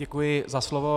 Děkuji za slovo.